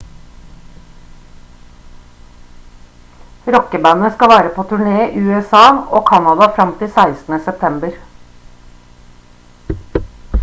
rockebandet skal være på turné i usa og canada frem til 16. september